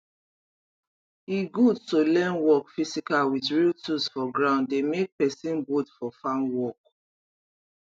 e good to learn work physical with real tools for ground dey make person bold for farm work